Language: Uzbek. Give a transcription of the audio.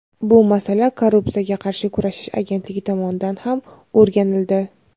bu masala Korrupsiyaga qarshi kurashish agentligi tomonidan ham o‘rganildi.